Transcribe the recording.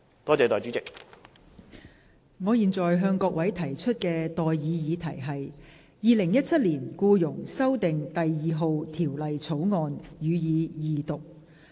我現在向各位提出的待議議題是：《2017年僱傭條例草案》，予以二讀。